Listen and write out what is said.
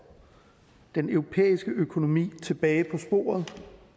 den europæiske økonomi tilbage på sporet